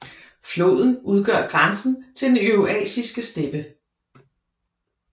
Floden udgør grænsen til den eurasiske steppe